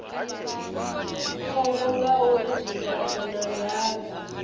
khombo ngauri zwifhaṱo na ndaka